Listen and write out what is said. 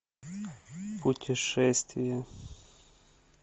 путешествие